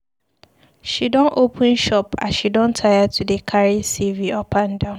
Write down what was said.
She don open shop as she don tire to dey carry CV up and down.